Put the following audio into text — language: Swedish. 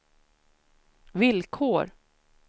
villkor